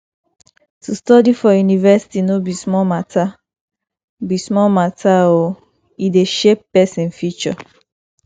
to study for university no be small mata be small mata o e dey shape pesin future